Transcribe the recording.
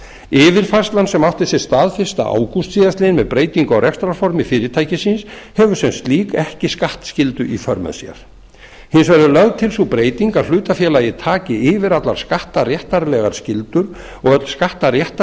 yfirfærslan sem átti sér stað fyrsta ágúst síðastliðnum með breytingu á rekstrarformi fyrirtækisins hefur sem slík ekki skattskyldu í för með sér hins vegar er lögð til sú breyting að hlutafélagið taki yfir allar skattaréttarlegar skyldur og öll